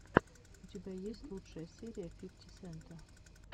у тебя есть лучшая серия фифти сента